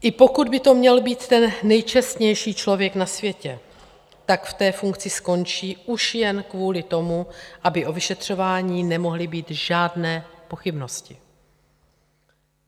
I pokud by to měl být ten nejčestnější člověk na světě, tak v té funkci skončí už jen kvůli tomu, aby o vyšetřování nemohly být žádné pochybnosti.